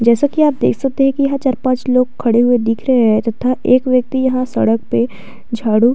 जैसा कि आप देख सकते है कि यह चर पाच लोग खड़े हुए दिख रहे है तथा एक व्यक्ति यहाँ सड़क पे झाड़ू --